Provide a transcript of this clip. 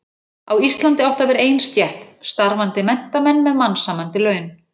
Á Íslandi átti að verða ein stétt: Starfandi menntamenn með mannsæmandi laun.